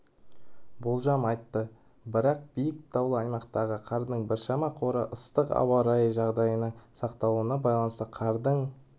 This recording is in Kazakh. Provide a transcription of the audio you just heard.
болжам айтты бірақ биік таулы аймақтағы қардың біршама қоры ыстық ауа-райы жағдайының сақталуына байланысты қардың